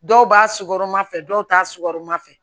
Dɔw b'a sukɔrɔn fɛ dɔw t'a sukɔrima fɛ